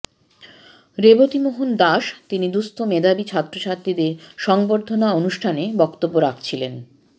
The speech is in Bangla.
রেবতীমোহন দাস তিনি দুস্থ মেধাবী ছাত্রছাত্রীদের সংবর্ধনা অনুষ্ঠানে বক্তব্য রাখছিলেন